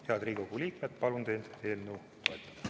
Head Riigikogu liikmed, palun teid eelnõu toetada!